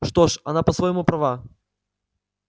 что ж она по-своему права